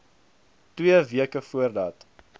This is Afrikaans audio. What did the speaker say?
twee weke voordat